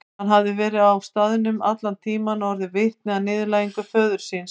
Hann hafði verið á staðnum allan tíman og orðið vitni að niðurlægingu föður síns.